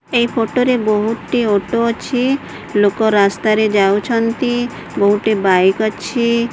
ସେଇ ଫୋଟୋ ରେ ବହୁତ୍ ଅଟୋ ଅଛି ଲୋକ ରାସ୍ତାରେ ଯାଉଛନ୍ତି ବାହୁଟେ ବାଇକ ଅଛି।